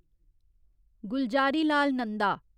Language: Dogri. गुलजारीलाल नंदा